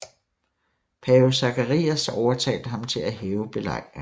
Pave Zacharias overtalte ham til at hæve belejringen